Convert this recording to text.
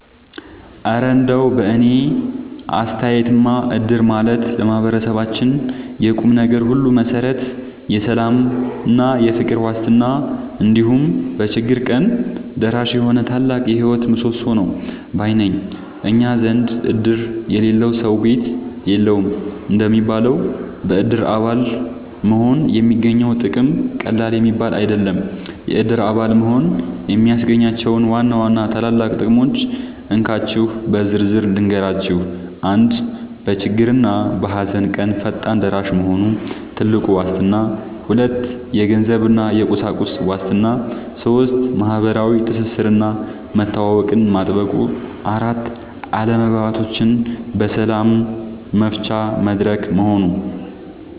እረ እንደው በእኔ አስተያየትማ እድር ማለት ለማህበረሰባችን የቁምነገር ሁሉ መሠረት፣ የሰላምና የፍቅር ዋስትና፣ እንዲሁም በችግር ቀን ደራሽ የሆነ ታላቅ የህይወት ምሰሶ ነው ባይ ነኝ! እኛ ዘንድ "እድር የሌለው ሰው ቤት የለውም" እንደሚባለው፣ በእድር አባል መሆን የሚገኘው ጥቅም ቀላል የሚባል አይደለም። የእድር አባል መሆን የሚያስገኛቸውን ዋና ዋና ታላላቅ ጥቅሞች እንካችሁ በዝርዝር ልንገራችሁ፦ 1. በችግርና በሃዘን ቀን ፈጣን ደራሽ መሆኑ (ትልቁ ዋስትና) 2. የገንዘብና የቁሳቁስ ዋስትና 3. ማህበራዊ ትስስርና መተዋወቅን ማጥበቁ 4. አለመግባባቶችን በሰላም መፍቻ መድረክ መሆኑ